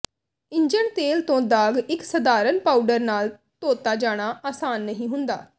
engine ਤੇਲ ਤੋਂ ਦਾਗ ਇੱਕ ਸਧਾਰਨ ਪਾਊਡਰ ਨਾਲ ਧੋਤਾ ਜਾਣਾ ਆਸਾਨ ਨਹੀਂ ਹੁੰਦਾ